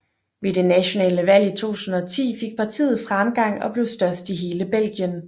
Ved det nationale valg i 2010 fik partiet fremgang og blev størst i hele Belgien